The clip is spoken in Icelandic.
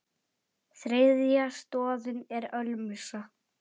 Þriðja stoðin er ölmusa.